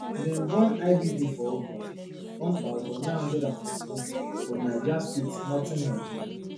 dem born ibb for august one thousand, nine hundred and forty-one for niger state northern nigeria